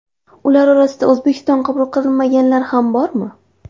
Ular orasida O‘zbekiston qabul qilmaganlari ham bormi?